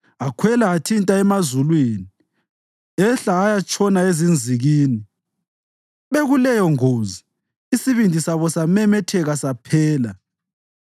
Akhwela athinta emazulwini, ehla ayatshona ezinzikini; bekuleyongozi isibindi sabo samemetheka saphela.